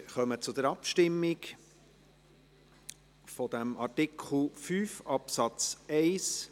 Wir kommen zur Abstimmung über Artikel 5 Absatz 1.